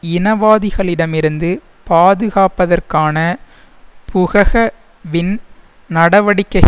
இனவாதிகளிடமிருந்து பாதுகாப்பதற்கான புகக வின் நடவடிக்கைகள்